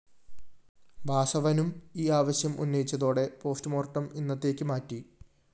വാസവനും ഈ ആവശ്യം ഉന്നയിച്ചതോടെ പോസ്റ്റ്‌മോര്‍ട്ടം ഇന്നത്തേക്ക് മാറ്റി